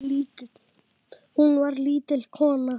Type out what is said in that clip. Hún var lítil kona.